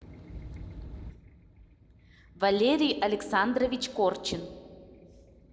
валерий александрович корчин